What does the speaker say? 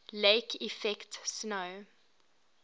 lake effect snow